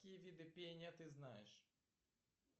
какие виды пения ты знаешь